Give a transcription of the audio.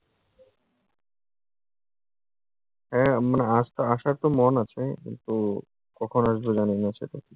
হ্যাঁ, মানে আসা আসার তো মন আছে। কিন্তু কখন আসবো জানিনা সেটা।